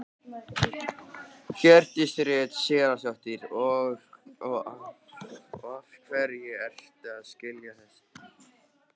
Hjördís Rut Sigurjónsdóttir: Og af hverju ertu að skila þessu?